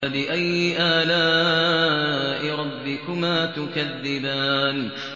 فَبِأَيِّ آلَاءِ رَبِّكُمَا تُكَذِّبَانِ